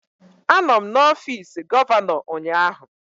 Anọ m n'ọfịs gọvanọ ụnyaahụ.